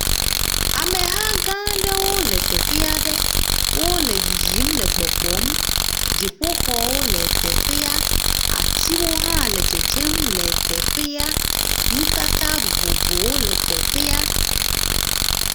Ameha gãa aɖewo le teƒe aɖe. Wole yiyim le gbɔgbɔm. dziƒoxɔwo le teƒea. Atiwo hã le dzem le teƒea. Nutata vovovowo le teƒea.